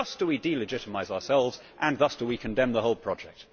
Thus do we delegitimise ourselves and thus do we condemn the whole project.